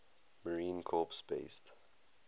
marine corps base